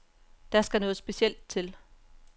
Der skal noget specielt til.